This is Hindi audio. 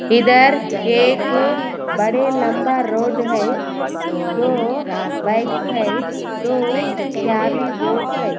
इधर एक बड़े लम्बा रोड है दो बाइक्स है दो बोर्ड्स है।